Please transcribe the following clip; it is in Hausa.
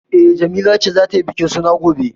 E, Jamila ce za ta yi bikin suna gobe.